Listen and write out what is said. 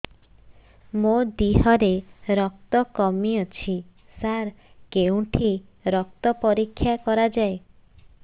ମୋ ଦିହରେ ରକ୍ତ କମି ଅଛି ସାର କେଉଁଠି ରକ୍ତ ପରୀକ୍ଷା କରାଯାଏ